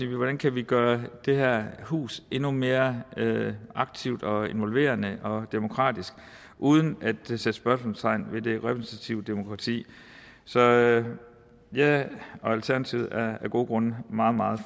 hvordan kan vi gøre det her hus endnu mere aktivt og involverende og demokratisk uden at sætte spørgsmålstegn ved det repræsentative demokrati så jeg jeg og alternativet går af gode grunde meget meget